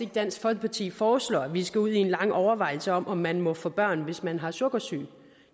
dansk folkeparti foreslår at vi skal ud i en lang overvejelse om om man må få børn hvis man har sukkersyge